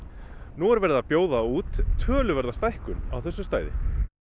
nú er verið að bjóða út töluverða stækkun á þessu stæði